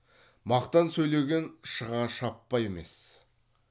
мақтан сөйлеген шыға шаппа емес